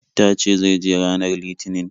Ta ce zai je ranar Litinin.